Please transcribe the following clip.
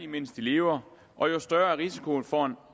mens de lever og jo større er risikoen for